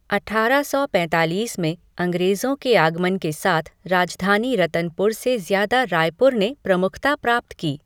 अठारह सौ पैतालीस में अंग्रेजों के आगमन के साथ राजधानी रतनपुर से ज्यादा रायपुर ने प्रमुखता प्राप्त की।